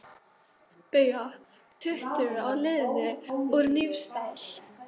BAUJA: Tuttugu á leiðinni úr Hnífsdal.